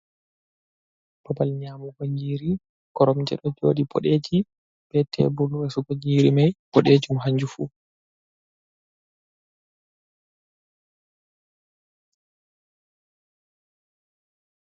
Babal nyamugo nyiri, koromje ɗo joɗi bodeji be tebul resugo nyiri mai bodejum hanjum fu.